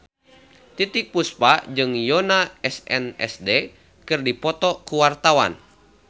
Titiek Puspa jeung Yoona SNSD keur dipoto ku wartawan